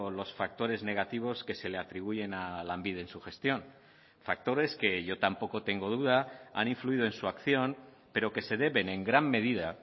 los factores negativos que se le atribuyen a lanbide en su gestión factores que yo tampoco tengo duda han influido en su acción pero que se deben en gran medida